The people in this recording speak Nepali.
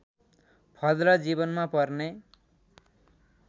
फल र जीवनमा पर्ने